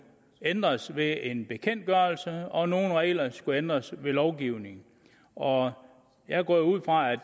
ændres ved en bekendtgørelse og nogle regler skulle ændres ved lovgivning og jeg går jo ud fra at